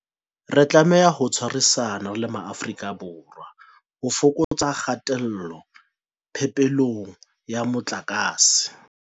Re tlameha ho tshwarisana re le Maafrika Borwa ho fokotsa kgatello phepelong ya motlakase.